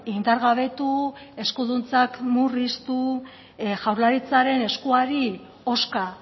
indargabetu eskuduntzak murriztu jaurlaritzaren eskuari hozka